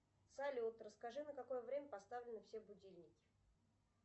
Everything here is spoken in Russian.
салют расскажи на какое время поставлены все будильники